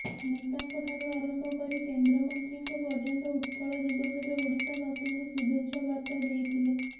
ନେତାଙ୍କଠାରୁ ଆରମ୍ଭ କରି କେନ୍ଦ୍ରମନ୍ତ୍ରୀଙ୍କ ପର୍ଯ୍ୟନ୍ତ ଉତ୍କଳ ଦିବସରେ ଓଡ଼ିଶାବାସୀଙ୍କୁ ଶୁଭେଚ୍ଛା ବାର୍ତ୍ତା ଦେଇଥିଲେ